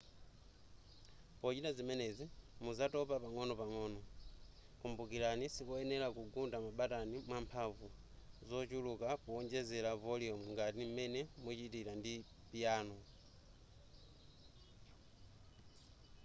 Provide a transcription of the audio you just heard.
pochita zimenezi muzatopa pang'onopang'o kumbukirani sikoyenera kugunda mabatani mwamphamvu zochuluka powonjezera voliyumu ngati m'mene muchitira ndi piyano